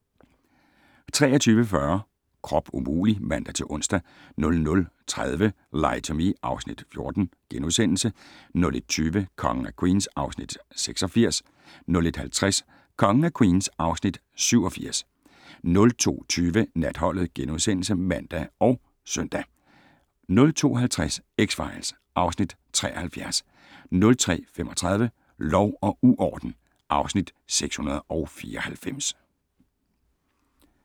23:40: Krop umulig! (man-ons) 00:30: Lie to Me (Afs. 14)* 01:20: Kongen af Queens (Afs. 86) 01:50: Kongen af Queens (Afs. 87) 02:20: Natholdet *(man og -søn) 02:50: X-Files (Afs. 73) 03:35: Lov og uorden (Afs. 694)